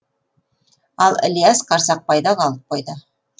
ал ілияс қарсақбайда қалып қойды